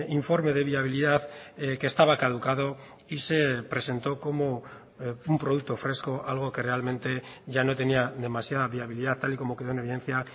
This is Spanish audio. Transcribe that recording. informe de viabilidad que estaba caducado y se presentó como un producto fresco algo que realmente ya no tenía demasiada viabilidad tal y como quedó en evidencia